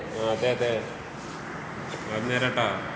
അതെ അതേ.അത് നേരാട്ടോ.